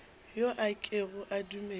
yo a kego a dumele